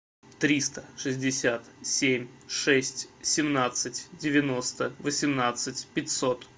триста шестьдесят семь шесть семнадцать девяносто восемнадцать пятьсот